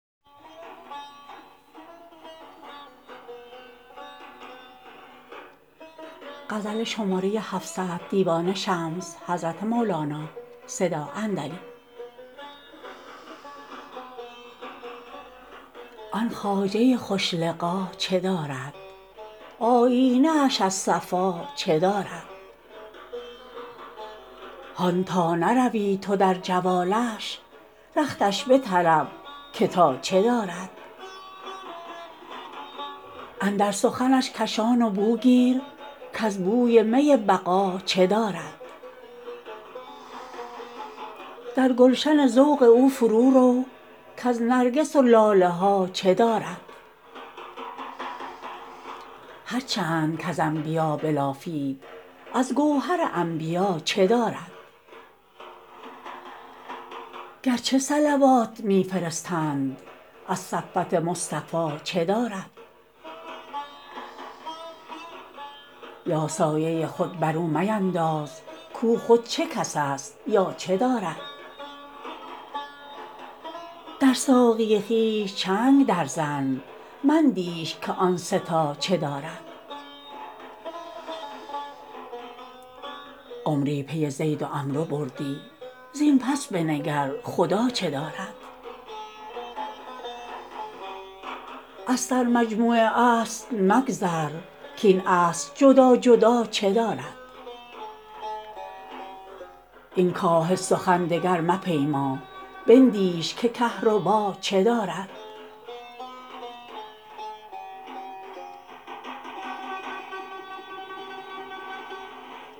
آن خواجه خوش لقا چه دارد آیینه اش از صفا چه دارد هان تا نروی تو در جوالش رختش بطلب که تا چه دارد اندر سخنش کشان و بو گیر کز بوی می بقا چه دارد در گلشن ذوق او فرورو کز نرگس و لاله ها چه دارد هر چند کز انبیا بلافید از گوهر انبیا چه دارد گرچه صلوات می فرستند از صفوت مصطفی چه دارد یا سایه خود بر او مینداز کو خود چه کس است یا چه دارد در ساقی خویش چنگ درزن مندیش که آن سه تا چه دارد عمری پی زید و عمرو بودی زین پس بنگر خدا چه دارد از سرمجموع اصل مگذر کاین اصل جدا جدا چه دارد این کاه سخن دگر مپیما بندیش که کهربا چه دارد